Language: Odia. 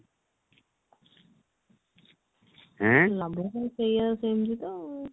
ସେଇଆ ସେମିତି ତ